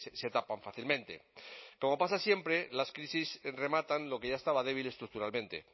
se tapan fácilmente como pasa siempre las crisis rematan lo que ya estaba débil estructuralmente